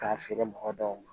K'a feere mɔgɔ dɔw ma